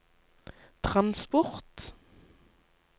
transport